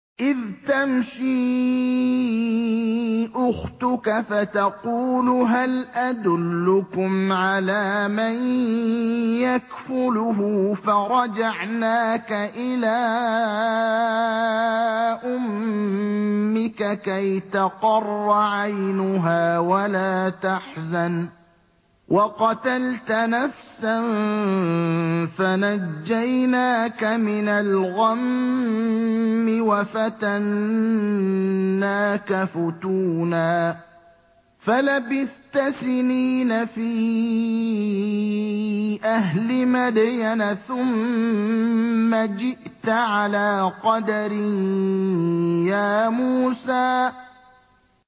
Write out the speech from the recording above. إِذْ تَمْشِي أُخْتُكَ فَتَقُولُ هَلْ أَدُلُّكُمْ عَلَىٰ مَن يَكْفُلُهُ ۖ فَرَجَعْنَاكَ إِلَىٰ أُمِّكَ كَيْ تَقَرَّ عَيْنُهَا وَلَا تَحْزَنَ ۚ وَقَتَلْتَ نَفْسًا فَنَجَّيْنَاكَ مِنَ الْغَمِّ وَفَتَنَّاكَ فُتُونًا ۚ فَلَبِثْتَ سِنِينَ فِي أَهْلِ مَدْيَنَ ثُمَّ جِئْتَ عَلَىٰ قَدَرٍ يَا مُوسَىٰ